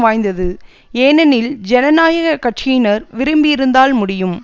வாய்ந்தது ஏனெனில் ஜனநாயக கட்சியினர் விரும்பியிருந்தால் முடியும்